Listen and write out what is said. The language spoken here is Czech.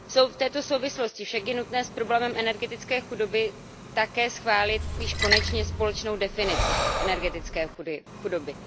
V této souvislosti však je nutné s problémem energetické chudoby také schválit již konečně společnou definici energetické chudoby.